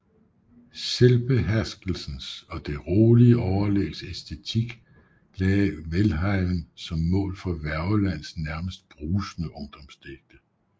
Selvbeherskelsens og det rolige overlægs æstetik lagde Welhaven som mål på Wergelands næmest brusende ungdomsdigte